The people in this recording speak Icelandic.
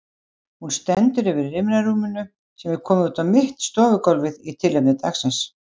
Hún stendur yfir rimlarúminu sem er komið niður á mitt stofugólfið í tilefni dagsins.